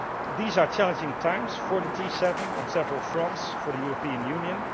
These are challenging times for the G7 on several fronts, for the European Union.